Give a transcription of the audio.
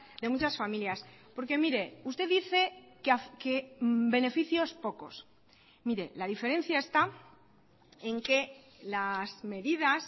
de muchas familias porque mire usted dice que beneficios pocos mire la diferencia está en que las medidas